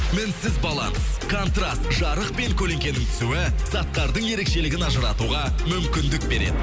мінсіз баланс контраст жарық пен көлеңкенің түсуі заттардың ерекшелігін ажыратуға мүмкіндік береді